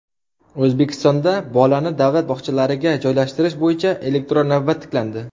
O‘zbekistonda bolani davlat bog‘chalariga joylashtirish bo‘yicha elektron navbat tiklandi.